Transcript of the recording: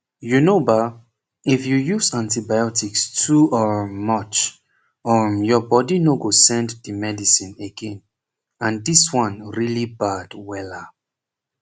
u know ba if you use antibiotics too um much um your body no go send the medicine again and this one really bad wella